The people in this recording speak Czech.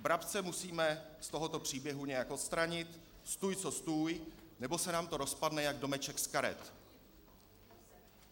Brabce musíme z tohoto příběhu nějak odstranit stůj co stůj, nebo se nám to rozpadne jak domeček z karet.